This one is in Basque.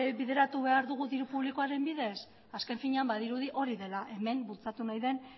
bideratu behar dugu diru publikoaren bidez azken finean badirudi hori dela hemen bultzatu nahi den